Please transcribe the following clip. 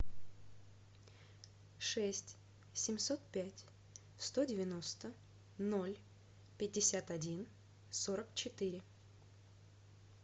шесть семьсот пять сто девяносто ноль пятьдесят один сорок четыре